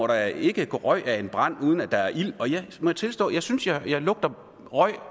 da ikke går røg af en brand uden at der er ild og jeg må tilstå at jeg synes jeg lugter røg